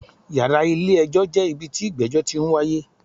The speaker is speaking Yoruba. Yàrá ilé ẹjọ́ jẹ́ ibi tí ìgbẹ́jọ́ ti n wáyé.